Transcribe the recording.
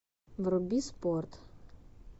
вруби спорт